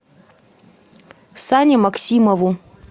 сане максимову